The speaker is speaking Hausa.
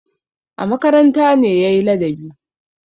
A makaranta ne ya yi ladabi.